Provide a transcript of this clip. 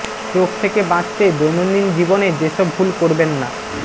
stroke থেকে বাঁচতে দৈনন্দিন জীবনে যেসব ভুল করবেন না